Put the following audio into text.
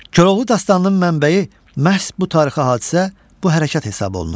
Koroğlu dastanının mənbəyi məhz bu tarixi hadisə, bu hərəkat hesab olunur.